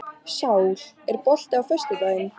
Sál, er bolti á föstudaginn?